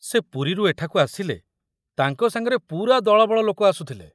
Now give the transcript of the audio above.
ସେ ପୁରୀରୁ ଏଠାକୁ ଆସିଲେ ତାଙ୍କ ସାଙ୍ଗରେ ପୁରା ଦଳବଳ ଲୋକ ଆସୁଥିଲେ।